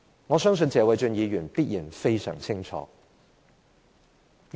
我相信謝偉俊議員必然非常清楚。